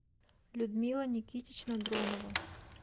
людмила никитична дронова